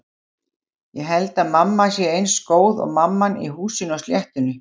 Ég held að mamma sé eins góð og mamman í Húsinu á sléttunni.